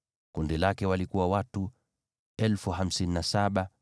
Kundi lake lina watu 57,400.